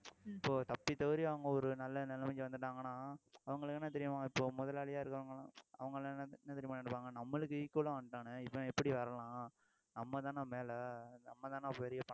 இப்போ தப்பித்தவறி அவங்க ஒரு நல்ல நிலைமைக்கு வந்துட்டாங்கன்னா அவங்களுக்கு என்ன தெரியுமா இப்போ முதலாளியா இருக்கவங்க எல்லாம் அவங்கெல்லாம் என்ன என்ன தெரியுமா நினைப்பாங்க நம்மளுக்கு equal ஆ வந்துட்டானே இவன் எப்படி வரலாம் நம்மதானே மேல நம்மதானே பெரிய பணக்காரன்